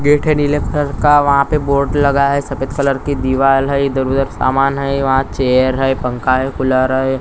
Gate है नीले colour का वहां पे बोर्ड लगा है सफेद कलर की दीवार है इधर-उधर सामान है वहां चेयर है पंखा है कूलर है।